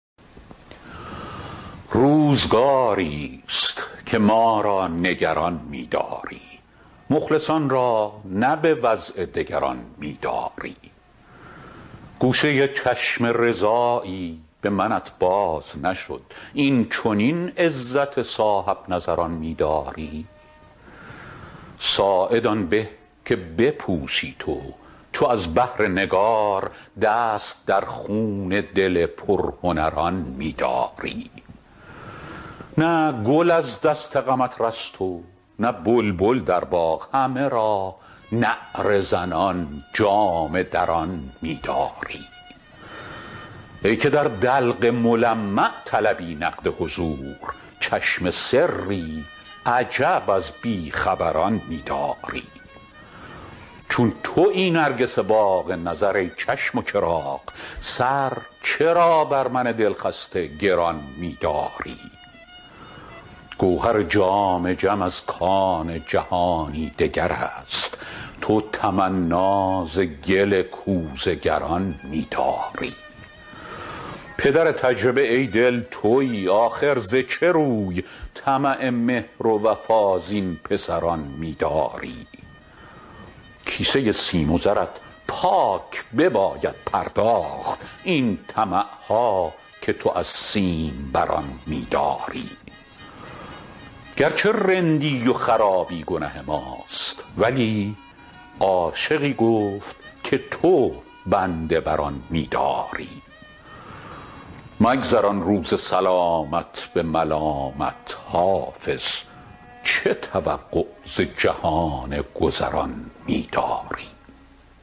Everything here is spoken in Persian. روزگاری ست که ما را نگران می داری مخلصان را نه به وضع دگران می داری گوشه چشم رضایی به منت باز نشد این چنین عزت صاحب نظران می داری ساعد آن به که بپوشی تو چو از بهر نگار دست در خون دل پرهنران می داری نه گل از دست غمت رست و نه بلبل در باغ همه را نعره زنان جامه دران می داری ای که در دلق ملمع طلبی نقد حضور چشم سری عجب از بی خبران می داری چون تویی نرگس باغ نظر ای چشم و چراغ سر چرا بر من دل خسته گران می داری گوهر جام جم از کان جهانی دگر است تو تمنا ز گل کوزه گران می داری پدر تجربه ای دل تویی آخر ز چه روی طمع مهر و وفا زین پسران می داری کیسه سیم و زرت پاک بباید پرداخت این طمع ها که تو از سیم بران می داری گر چه رندی و خرابی گنه ماست ولی عاشقی گفت که تو بنده بر آن می داری مگذران روز سلامت به ملامت حافظ چه توقع ز جهان گذران می داری